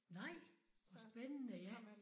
Nej! Hvor spændende ja